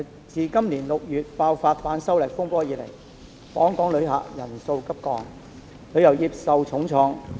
自今年6月爆發反修例風波以來，訪港旅客人數急降，旅遊業受重創。